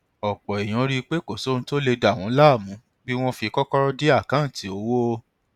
ọpọ èèyàn rí i pé kò sóhun tó lè dá wọn láàmú bí wọn fi kọkọrọ dí àkáǹtì owó